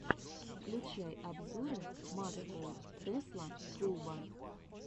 включай обзоры маскоу тесла клуба